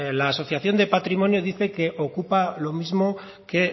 la asociación de patrimonio dice que ocupa lo mismo que